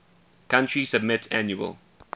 country submit annual